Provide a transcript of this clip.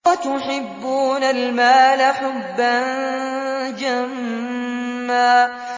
وَتُحِبُّونَ الْمَالَ حُبًّا جَمًّا